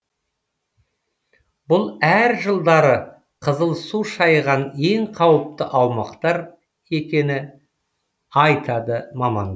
бұл әр жылдары қызыл су шайған ең қауіпті аумақтар екені айтады маман